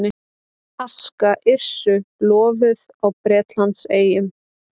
Aska Yrsu lofuð á Bretlandseyjum